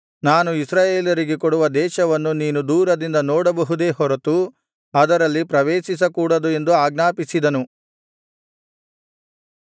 ನಾನು ಇಸ್ರಾಯೇಲರಿಗೆ ಕೊಡುವ ದೇಶವನ್ನು ನೀನು ದೂರದಿಂದ ನೋಡಬಹುದೇ ಹೊರತು ಅದರಲ್ಲಿ ಪ್ರವೇಶಿಸಕೂಡದು ಎಂದು ಆಜ್ಞಾಪಿಸಿದನು